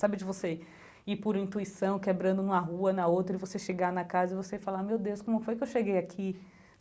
Sabe de você ir por intuição, quebrando uma rua na outra, e você chegar na casa e você falar, meu Deus, como foi que eu cheguei aqui?